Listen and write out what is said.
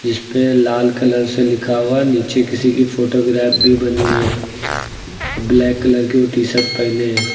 पे लाल कलर से लिखा हुआ नीचे किसी की फोटो ग्राफ भी बनी है ब्लैक कलर की टी शर्ट पहने है।